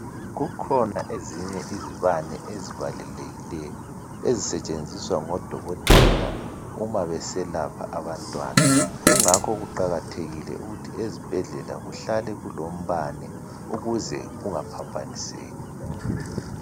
Kukhona ezinye izibane ezibalulekileyo ezisetshenziswa ngodokotela uma beselapha abantwana kungakho kuqakathekile ezibhedlela kuhlale kulombane ukuze kungaphambaniseki